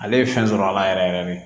Ale ye fɛn sɔrɔ a la yɛrɛ yɛrɛ de